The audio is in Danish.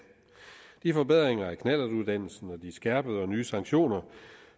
de forbedringer af knallertuddannelsen og de skærpede og nye sanktioner